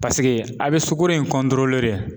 Paseke a be sukoro in